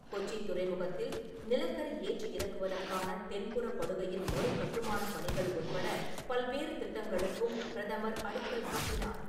கொச்சி துறைமுகத்தில் நிலக்கரி ஏற்றி இறக்குவதற்கான தென்புறப் படுகையின் மறு கட்டுமானப் பணிகள் உட்பட பல்வேறு திட்டங்களுக்கும் பிரதமர் அடிக்கல் நாட்டினார்.